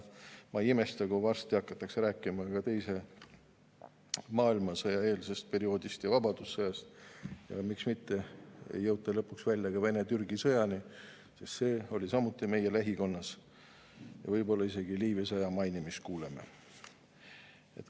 Ma ei imesta, kui varsti hakatakse rääkima ka teise maailmasõja eelsest perioodist ja vabadussõjast, ja miks mitte ei jõuta lõpuks välja ka Vene-Türgi sõjani, sest see oli samuti meie lähikonnas, ja võib-olla kuuleme isegi Liivi sõja mainimist.